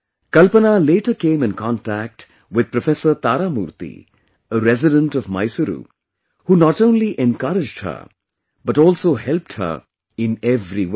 Kalpana later came in contact with Professor Taramurthy, a resident of Mysuru, who not only encouraged her but also helped her in every way